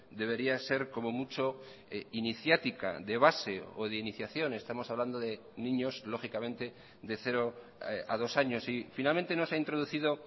debería ser como mucho iniciática de base o de iniciación estamos hablando de niños lógicamente de cero a dos años y finalmente no se ha introducido